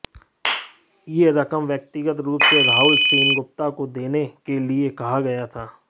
यह रकम व्यक्तिगत रूप से राहुल सेनगुप्ता को देने के लिए कहा गया था